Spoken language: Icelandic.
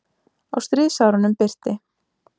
Á stríðsárunum birti